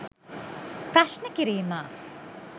ප්‍රශ්න කිරීම